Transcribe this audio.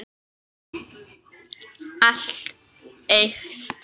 Allt eykst.